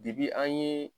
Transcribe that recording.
an ye